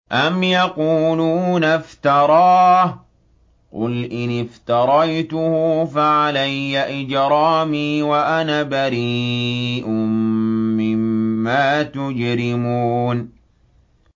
أَمْ يَقُولُونَ افْتَرَاهُ ۖ قُلْ إِنِ افْتَرَيْتُهُ فَعَلَيَّ إِجْرَامِي وَأَنَا بَرِيءٌ مِّمَّا تُجْرِمُونَ